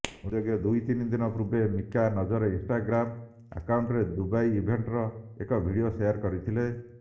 ଉଲ୍ଲେଖଯୋଗ୍ୟ ଦୁଇ ଦିନ ପୂର୍ବେ ମିକା ନିଜର ଇନଷ୍ଟାଗ୍ରାମ ଆକାଉଣ୍ଟରେ ଦୁବାଇ ଇଭେଣ୍ଟର ଏକ ଭିଡ଼ିଓ ସେୟାର କରିଥିଲେ